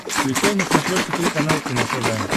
включай на смотрешке телеканал кино тв